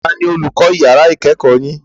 Tani olùkọ́ yàrá ìkẹ́kọ̀ọ́ yin?